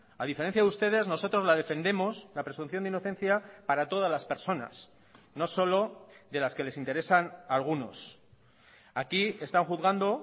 a diferencia de ustedes nosotros la defendemos la presunción de inocencia para todas las personas no solo de las que les interesan a algunos aquí están juzgando